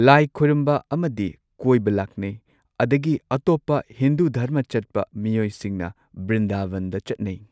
ꯂꯥꯏ ꯈꯣꯏꯔꯝꯕ ꯑꯃꯗꯤ ꯀꯣꯏꯕ ꯂꯥꯛꯅꯩ ꯑꯗꯒꯤ ꯑꯇꯣꯞꯄ ꯍꯤꯟꯗꯨ ꯙꯔꯃ ꯆꯠꯄ ꯃꯤꯑꯣꯏꯁꯤꯡꯅ ꯕ꯭ꯔꯤꯟꯗꯥꯕꯟꯗ ꯆꯠꯅꯩ꯫